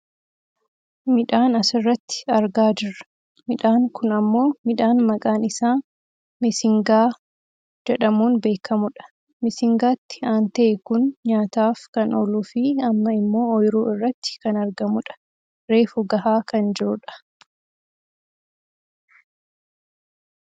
Midhaan asirratti argaa jirra. Midhaan kun ammoo midhaan maqaan isaa missing aadaa jedhamuun beekkamudha. Missingaatti aantee kun nyaataaf kan ooluufi amma ammoo ooyiruu irratti kan argamu dha. Reefu gahaa kan jirudha.